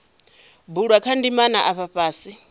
bulwa kha ndimana afha fhasi